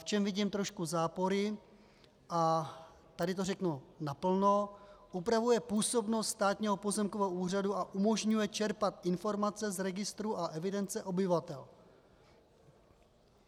V čem vidím trošku zápory, a tady to řeknu naplno, upravuje působnost Státního pozemkového úřadu a umožňuje čerpat informace z registru a evidence obyvatel.